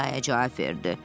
ia-ia cavab verdi.